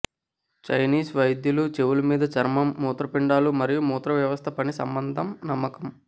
Chinese వైద్యులు చెవులు మీద చర్మం మూత్రపిండాలు మరియు మూత్ర వ్యవస్థ పని సంబంధం నమ్మకం